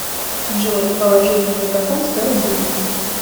джой положить на мегафон сто рублей